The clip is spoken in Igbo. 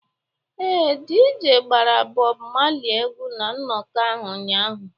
Ee, DJ gbara Bob Marley egwu na nnọkọ ahụ ụnyaahụ